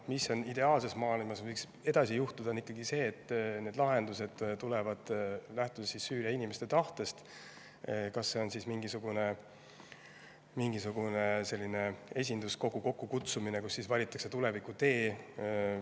Mis võiks ideaalses maailmas edasi juhtuda, on ikkagi see, et need lahendused tulevad Süüria inimeste tahtest lähtudes, on see siis näiteks mingisugune esinduskogu kokkukutsumine, kus valitakse tuleviku tee.